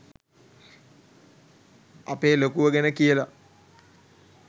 අපේ ලොකුව ගැන කියල